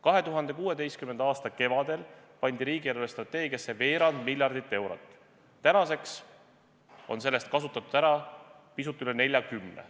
2016. aasta kevadel pandi riigi eelarvestrateegiasse veerand miljardit eurot, nüüdseks on sellest kasutatud ära pisut üle 40.